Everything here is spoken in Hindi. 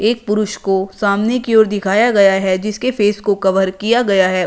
एक पुरुष को सामने की ओर दिखाया गया है जिसके फेस को कवर किया गया है।